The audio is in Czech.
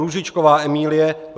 Růžičková Emílie